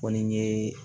Kɔni ye